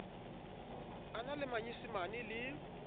a na le manyesemane le